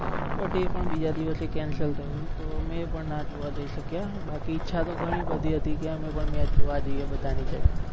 but એ પણ બીજા દિવસે cancel થયો તો મે પણ ના જોવા જઈ શક્યા બાકી ઈચ્છા ઘણી બધી હતી કે અમે પણ મેચ જોવા જઈએ બધા ની જેમ